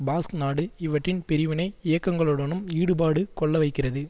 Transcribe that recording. Basque நாடு இவற்றின் பிரிவினை இயக்கங்களுடனும் ஈடுபாடு கொள்ள வைக்கிறது